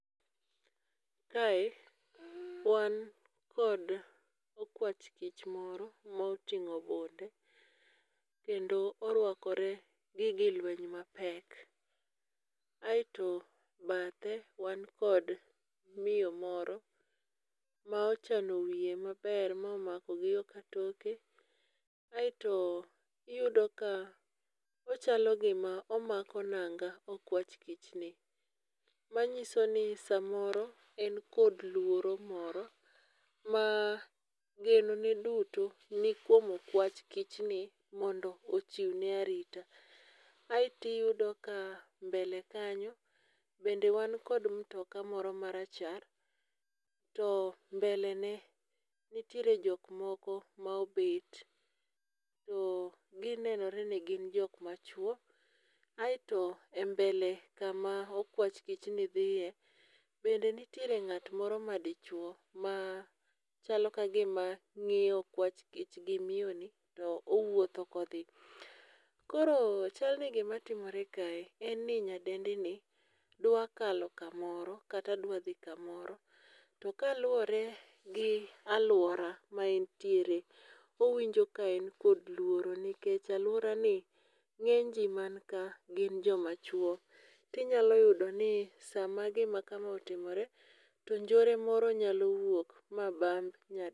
Kae wan kod okwach kich moro moting'o bunde kendo orwakore gige lweny mapek, aeto bathe wan kod miyo moro ma ochano wiye maber momako gi yo katoke. aeto iyudo ka ochalo gima omako nanga okwach kichni, manyiso ni samoro en kod luoro moro ma genone duto ni kuom okwach kichni mondo ochiwne arita. Aeto iyudo ka mbele kanyo bende wan kod mtoka moro marachar, to mbele ne nitiere jok moko ma obet, ginenore ni gin jok machuwo, aeto e mbele kama okwach kichni dhiye, bende nitiere ng'at moro madichuwo ma chalo ka gima ong'iyo okwach kich gi miyoni to owuotho kodhi. Koro chal ni gimatimore kae en ni nyadendini dwa kalo kamoro, kata dwa dhi kamoro, to kaluwore gi alwora ma entiere, owinjo ka en kod luoro nikech alworani ng'enyji man ka gin jomachuwo, tinyalo yudo ni sama gima kama otimore, to njore moro nyalo wuok ma bamb